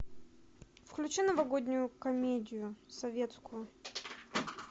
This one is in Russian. включи новогоднюю комедию советскую